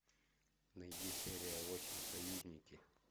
найди серия восемь союзники